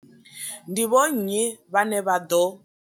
Ndi vho nnyi vhane vha ḓo?